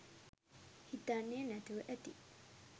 හිතන්නේ නැතුව ඇති.